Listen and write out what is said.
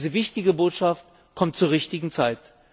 Diese wichtige Botschaft kommt zur richtigen Zeit.